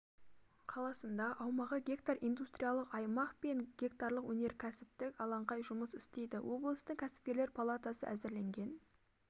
қаласында аумағы гектар индустриялық аймақ пен гектарлық өнеркәсіптік алаңқай жұмыс істейді облыстың кәсіпкерлер палатасы әзірленген